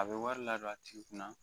A bɛ wari la don a tigi kunna